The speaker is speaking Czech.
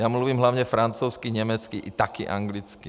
Já mluvím hlavně francouzsky, německy a taky anglicky.